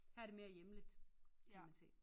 Her er det mere hjemligt kan man se